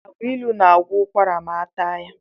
Agbailu na-agwọ ụkwara ma ataa ya.